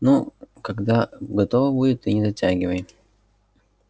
ну когда готово будет ты не затягивай